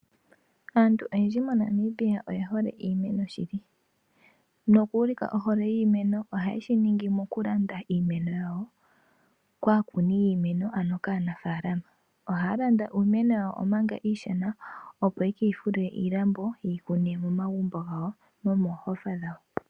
Aantu oyendji monamibia oyehole iimeno shili . Moku ulika ohole yiimeno oha yeshi ningi mokulanda iimeno yawo kaakuni yiimeno ano kaanafaalama. Ohaya landa iimeno yawo omanga iishona opo yeke yi fulile iilambo yeyi kune momagumbo gawo nomoohofa dhawo.